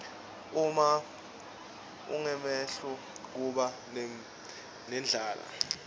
uma ungemuhle kuba nendlala